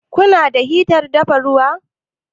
Ku na da hitar dafa ruwa?